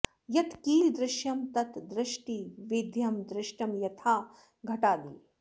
यत् किल दृश्यं तत् द्रष्टृवेद्यं दृष्टं यथा घटादि